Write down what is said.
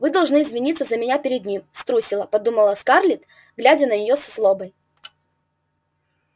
вы должны извиниться за меня перед ним струсила подумала скарлетт глядя на нее со злобой